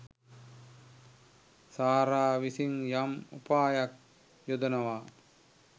සාරා විසින් යම් උපායක් යොදනවා.